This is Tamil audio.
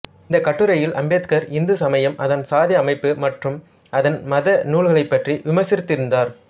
இந்தக் கட்டுரையில் அம்பேத்கர் இந்து சமயம் அதன் சாதி அமைப்பு மற்றும் அதன் மத நூல்களைப் பற்றி விமர்சித்திருந்தார்